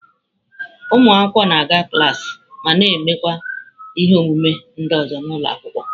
Ụmụ akwụkwọ na-aga klaasị ma na-emekwa ihe omume ndị ọzọ n'ụlọ akwụkwọ.